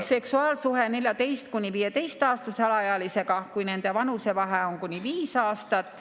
... seksuaalsuhe 14–15‑aastase alaealisega, kui nende vanusevahe on kuni viis aastat.